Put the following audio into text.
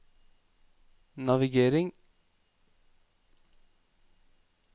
navigering